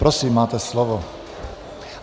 Prosím, máte slovo.